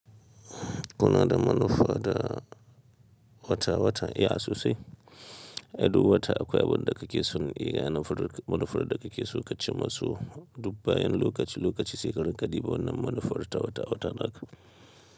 Kuna da manufa da wata wata, eh a a sosai, ai duk wata akwai abin da kake son yi ga manufar da kake so ka ci masu dubbayen lokaci, lokaci shekarar ka, di ba wannan manufar ta wata wata naga.